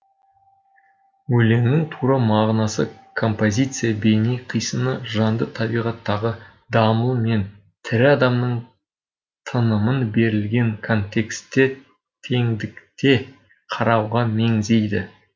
өлеңнің тура мағынасы композиция бейне қисыны жанды табиғаттағы дамыл мен тірі адамның тынымын берілген контексте теңдікте қарауға меңзейді